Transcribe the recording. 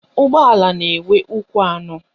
Ụgbọala na-enwe ụkwụ anọ